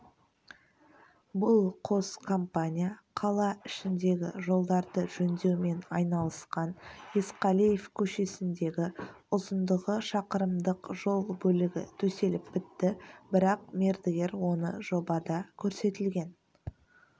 бұл қос компания қала ішіндегі жолдарды жөндеумен айналысқан есқалиев көшесіндегі ұзындығы шақырымдық жол бөлігі төселіп бітті бірақ мердігер оны жобада көрсетілген